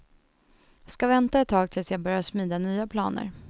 Ska vänta ett tag tills jag börjar smida nya planer.